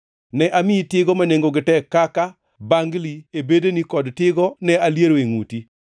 Ne amiyi tigo ma nengogi tek kaka: Bangli e bedeni kod tigo ne aliero e ngʼuti,